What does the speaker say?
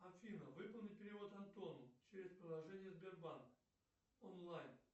афина выполни перевод антону через приложение сбербанк онлайн